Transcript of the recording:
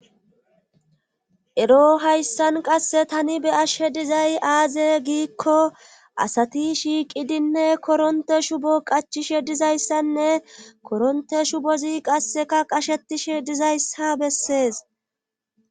Ero hayssan qasse tani be ashe dizay aaze giikko asati shiiqidinne koronte shubo qachishe dizayssanne koronte shubozi qasseka qashetishe dizayssa bessees